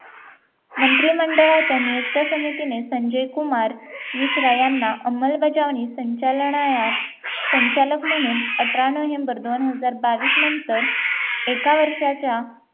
मंत्रिमंडळाच्या नियुक्त समितीने संजय कुमार मिश्रा यांना अंमलबजावणी संचालनायात संचालक म्हणून अठरा नोव्हेंबर दोन हजार बावीस नंतर एका वर्षाच्या